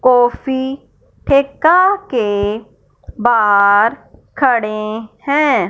Coffee ठेका के बाहर खड़ें हैं।